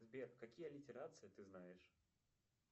сбер какие аллитерации ты знаешь